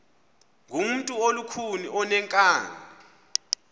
ngumntu olukhuni oneenkani